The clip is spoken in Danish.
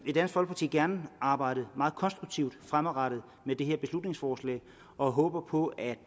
i dansk folkeparti gerne arbejde meget konstruktivt fremadrettet med det her beslutningsforslag og håber på at